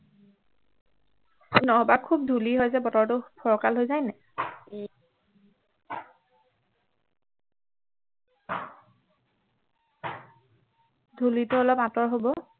নহবা খুব ধূলি হয় যে বতৰটো ফৰকাল হৈ যায় নাই ধূলিটো অলপ আঁতৰ হব